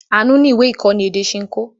Àánú ní ìwé-ìkọ́ni èdè Ṣinkó.